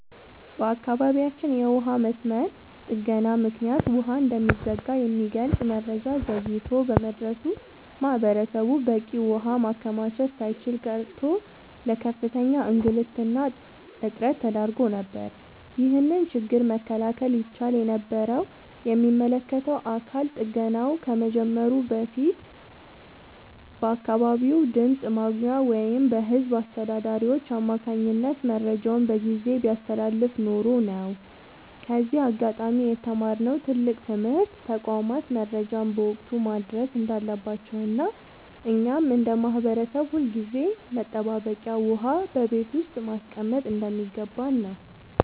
በአካባቢያችን የውሃ መስመር ጥገና ምክንያት ውሃ እንደሚዘጋ የሚገልጽ መረጃ ዘግይቶ በመድረሱ ማህበረሰቡ በቂ ውሃ ማከማቸት ሳይችል ቀርቶ ለከፍተኛ እንግልትና እጥረት ተዳርጎ ነበር። ይህንን ችግር መከላከል ይቻል የነበረው የሚመለከተው አካል ጥገናው ከመጀመሩ ከቀናት በፊት በአካባቢው ድምፅ ማጉያ ወይም በህዝብ አስተዳዳሪዎች አማካኝነት መረጃውን በጊዜ ቢያስተላልፍ ኖሮ ነው። ከዚህ አጋጣሚ የተማርነው ትልቅ ትምህርት ተቋማት መረጃን በወቅቱ ማድረስ እንዳለባቸውና እኛም እንደ ማህበረሰብ ሁልጊዜም መጠባበቂያ ውሃ በቤት ውስጥ ማስቀመጥ እንደሚገባን ነው።